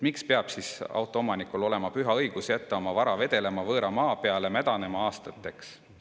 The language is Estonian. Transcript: Miks peab siis autoomanikul olema püha õigus jätta oma vara vedelema võõra maa peale mädanema aastateks?